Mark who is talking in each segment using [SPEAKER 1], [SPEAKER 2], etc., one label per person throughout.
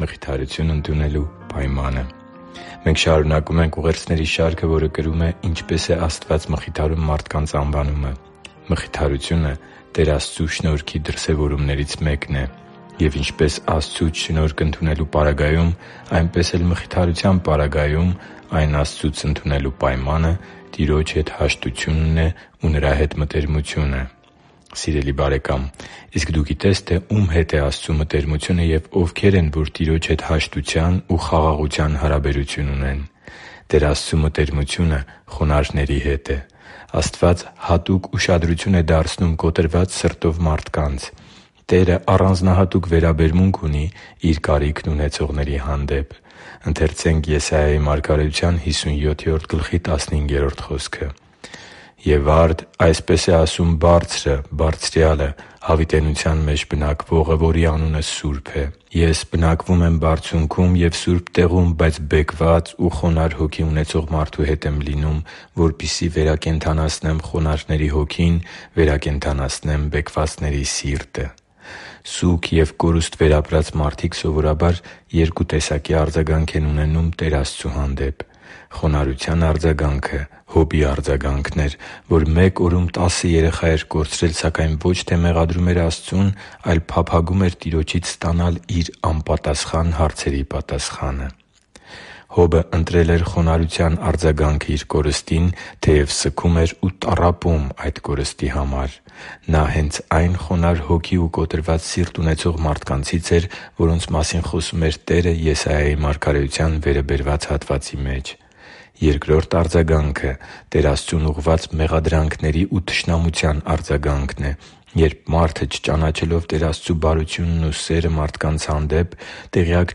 [SPEAKER 1] Մխիթարություն ընդունելու պայմանը Մենք շարունակում ենք ուղերձների շարքը, որը կրում է «Ինչպե՞ս է Աստված մխիթարում մարդկանց»անվանումը։ Մխիթարությունը Տեր Աստծու շնորհքի դրսևորումներից մեկն է։ Եվ ինչպես Աստծուց շնորհք ընդունելու պարագայում, այնպես էլ մխիթարության պարագայում այն Աստծուց ընդունելու պայմանը Տիրոջ հետ հաշտությունն է ու Նրա հետ մտերմությունը։ Սիրելի՛ *|FNAME|*, իսկ դու գիտե՞ս, թե ում հետ է Աստծու մտերմությունը և ովքեր են, որ Տիրոջ հետ հաշտության ու խաղաղության հարաբերություն ունեն։ Տեր Աստծու մտերմությունը խոնարհների հետ է։ Աստված հատուկ ուշադրություն է դարձնում կոտրված սրտով մարդկանց։ Տերը առանձնահատուկ վերաբերմունք ունի Իր կարիքն ունեցողների հանդեպ։ «Եվ արդ, այսպես է ասում Բարձրը, Բարձրյալը, հավիտենության մեջ բնակվողը, որի անունը Սուրբ է. «Ես բնակվում եմ բարձունքում և սուրբ տեղում, բայց բեկված և խոնարհ հոգի ունեցող մարդու հետ եմ լինում, որպեսզի վերակենդանացնեմ խոնարհների հոգին, վերակենդանացնեմ բեկվածների սիրտը» (Եսայիա 57․15): Սուգ և կորուստ վերապրած մարդիկ, սովորաբար, երկու տեսակի արձագանք են ունենում Տեր Աստծու հանդեպ։ Խոնարհության արձագանքը Հոբի արձագանքն էր, որ մեկ օրում տասը երեխա էր կորցրել, սակայն ոչ թե մեղադրում էր Աստծուն, այլ փափագում էր Տիրոջից ստանալ իր անպատասխան հարցերի պատասխանը։ Հոբը ընտրել էր խոնարհության արձագանքը իր կորստին, թեև սգում էր ու տառապում իր կորստի համար։ Նա հենց այն խոնարհ հոգի ու կոտրված սիրտ ունեցող մարդկանցից էր, որոնց մասին խոսում էր Տերը Եսայիայի մարգարեության վերը բերված հատվածի մեջ։ Երկրորդ արձագանքը Տեր Աստծուն ուղղված մեղադրանքների ու թշնամության արձագանքն է, երբ մարդը, չճանաչելով Տեր Աստծու բարությունն ու սերը մարդկանց հանդեպ, տեղյակ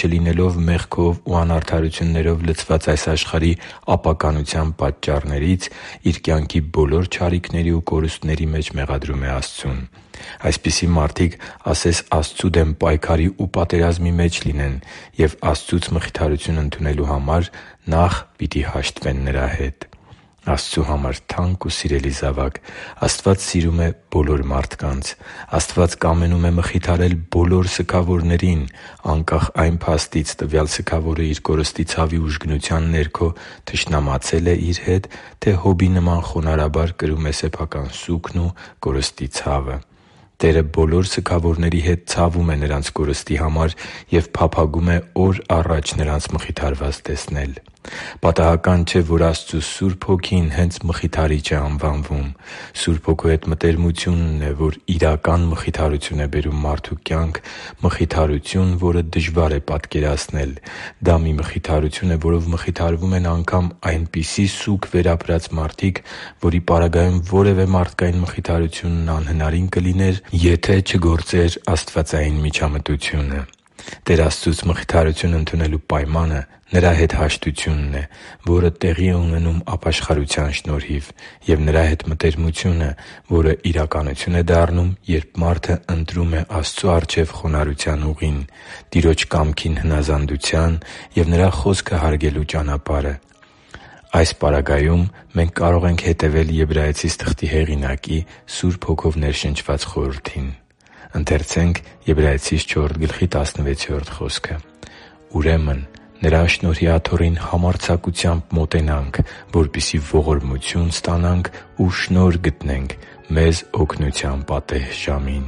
[SPEAKER 1] չլինելով մեղքով ու անարդարություններով լցված այս աշխարհի ապականության պատճառներից, իր կյանքի բոլոր չարիքների ու կորուստների մեջ մեղադրում է Աստծուն։ Այսպիսի մարդիկ ասես Աստծու դեմ պայքարի ու պատերազմի մեջ լինեն և Աստծուց մխիթարություն ընդունելու համար նախ պիտի հաշտվեն Նրա հետ։ Աստծու համար թանկ ու սիրելի՛ *|FNAME|*, Աստված սիրում է բոլոր մարդկանց։ Աստված կամենում է մխիթարել բոլոր սգավորներին՝ անկախ այն փաստից՝ տվյալ սգավորը իր կորստի ցավի ուժգնության ներքո թշնամացե՞լ է Իր հետ, թե՞ Հոբի նման խոնարհաբար կրում է սեփական սուգն ու կորստի ցավը։ Տերը բոլոր սգավորների հետ ցավում է նրանց կորստի համար և փափագում է օր առաջ նրանց մխիթարված տեսնել։ Պատահական չէ, որ Աստծու Սուրբ Հոգին հե՛նց Մխիթարիչ է անվանվում։ Սուրբ Հոգու հետ մտերմությունն է, որ իրական մխիթարություն է բերում մարդու կյանք՝ մխիթարություն, որը դժվար է պատկերացնել։ Դա մի մխիթարություն է, որով մխիթարվում են անգամ այնպիսի սուգ վերապրած մարդիկ, որի պարագայում որևէ մարդկային մխիթարությունն անհնարին կլիներ, եթե չգործեր աստվածային միջամտությունը։ Տեր Աստծուց մխիթարություն ընդունելու պայմանը Նրա հետ հաշտությունն է, որը տեղի է ունենում ապաշխարության շնորհիվ, և Նրա հետ մտերմությունը, որը իրականություն է դառնում, երբ մարդն ընտրում է Աստծու առջև խոնարհության ուղին՝ Տիրոջ կամքին հնազանդության և Նրա Խոսքը հարգելու ճանապարհը։ Այս պարագայում մենք կարող ենք հետևել Եբրայեցիս թղթի հեղինակի՝ Սուրբ Հոգով ներշնչված խորհրդին․ «Ուրեմն Նրա շնորհի աթոռին համարձակությամբ մոտենանք, որպեսզի ողորմություն ստանանք ու շնորհ գտնենք մեզ օգնության պատեհ ժամին»